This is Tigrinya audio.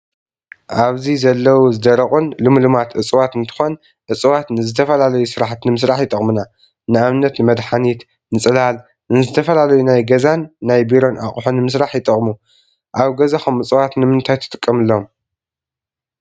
ኣብዚ ዘለው ዝገረቁን ልምሉማት እፅዋት እንትኮን እፅዋት ንዝተፈላለዩ ስራሕቲ ንምስራሕ ይጠቅሙና፣ ንኣብነት ንመድሓኒት፣ ንፅላል፣ ንዝተፈላለዩ ናይ ገዛን ናይ ቢሮን ኣቁሑ ንምስራሕ ይጠቅሙ። ኣብ ገዛኩም እፅዋት ንምታይ ትጥቀምሎም ?